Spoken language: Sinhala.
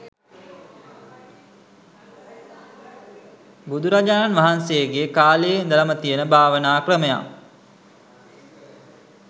බුදුරජාණන් වහන්සේගේ කාලයේ ඉඳලම තියෙන භාවනා ක්‍රමයක්.